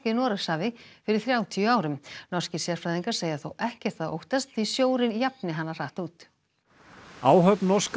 Noregshafi fyrir þrjátíu árum norskir sérfræðingar segja þó ekkert að óttast því sjórinn jafni hana hratt út áhöfn norska